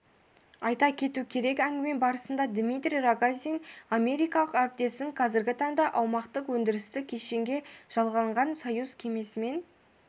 айта кету керек әңгіме барысында дмитрий рогозин америкалық әріптесін қазіргі таңда аумақтық-өндірістік кешенге жалғанған союз кемесінен